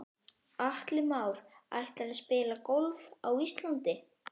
Atli Már: Ætlarðu að spila golf á Íslandi?